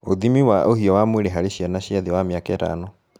Ũthimi wa ũhiu wa mwĩrĩ harĩ Ciana cia thĩ wa mĩaka ĩtano